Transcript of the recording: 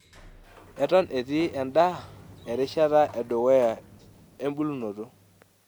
Eton etii endaa erishata e dukuya ebulunoto.